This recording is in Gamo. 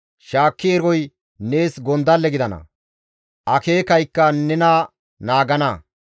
Shaakki eroy nees gondalle gidana; akeekaykka nena naagana.